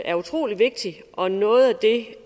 er utrolig vigtigt og noget af det